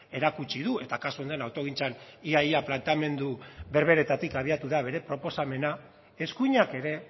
erakutsi du eta kasu honen autogintzan ia ia planteamendu berberetatik abiatu da bere proposamena eskuinak ere